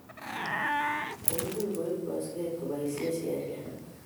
Koimuch koip kasupet kopaishe sheria